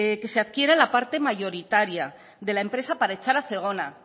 que se adquiera la parte mayoritaria de la empresa para echar a zegona